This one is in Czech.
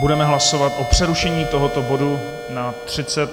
Budeme hlasovat o přerušení tohoto bodu na 35 minut.